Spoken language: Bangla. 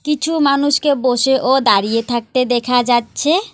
কিছু মানুষকে বসে ও দাঁড়িয়ে থাকতে দেখা যাচ্ছে।